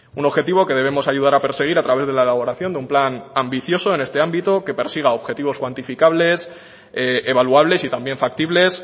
un objetivo que debemos ayudar a perseguir a través de la elaboración de un plan ambicioso en este ámbito que persiga objetivos cuantificables evaluables y también factibles